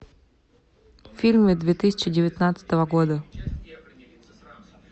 фильмы две тысячи девятнадцатого года